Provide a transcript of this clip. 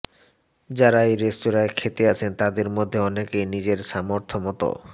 যাঁরা এই রেস্তোরাঁয় খেতে আসেন তাঁদের মধ্যে অনেকেই নিজের সামর্থ্য মত